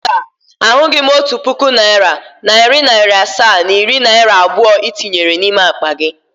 Mba, ahụghị m otu puku naịra, nari naira asaa na iri naira abụọ i tinyere n’ime akpa gị